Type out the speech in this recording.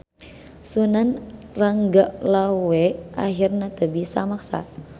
Sunan Ranggalawe ahirna teu bisa maksa.